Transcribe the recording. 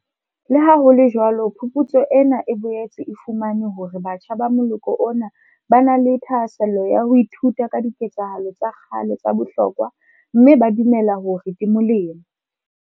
Leha ho le jwalo phuputso ena e boetse e fumane hore batjha ba moloko ona ba na le thahasello ya ho ithuta ka diketsahalo tsa kgale tsa bohlokwa mme ba dumela hore di molemo.